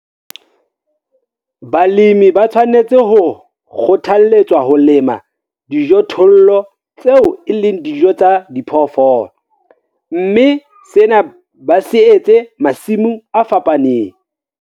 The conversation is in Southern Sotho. Balemi ba tshwanetse ho kgothaletswa ho lema dijothollo tseo e leng dijo tsa diphoofolo, mme sena ba se etse masimong a fapaneng.